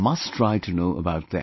You must try to know about them